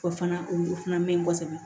O fana o fana man ɲi kosɛbɛ